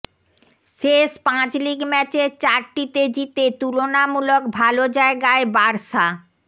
শেষ পাঁচ লিগ ম্যাচের চারটিতে জিতে তুলনামূলক ভালো জায়গায় বার্সা